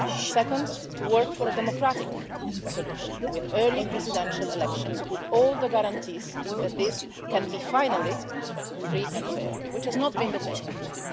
Second, to work for a democratic solution with early presidential elections, with all the guarantees that this can be, finally, free and fair, which has not been the case before.